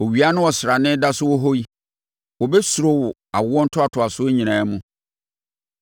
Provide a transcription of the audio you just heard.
Owia ne ɔsrane da so wɔ hɔ yi wɔbɛsuro wo awoɔ ntoatoasoɔ nyinaa mu.